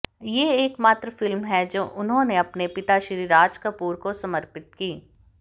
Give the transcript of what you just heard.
ये एकमात्र फिल्म है जो उन्होंने अपने पिता श्री राज कपूर को समर्पित की